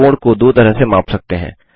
आप कोण को दो तरह से माप सकते हैं